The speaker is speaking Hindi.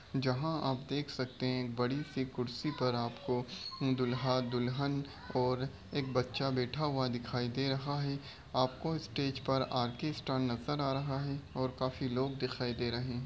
जहाँ आप देख सकते हैं एक बड़ी सी कुर्सी पर आपको दूल्हा दुल्हन और एक बच्चा बैठा हुआ दिखाई दे रहा है। आपको स्टेज पर आर्केस्ट्रा नजर आ रहा है और काफी लोग दिखाई दे रहे हैं।